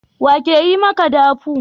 Wa ke yi maka dafu?